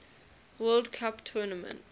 world cup tournament